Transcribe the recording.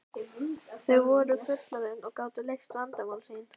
Þau voru fullorðin og gátu leyst vandamál sín.